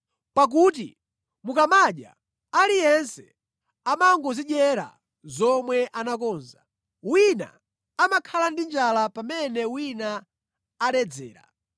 Pakuti mukamadya, aliyense amangodzidyera zomwe anakonza. Wina amakhala ndi njala pamene wina amaledzera.